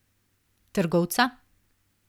Trgovca?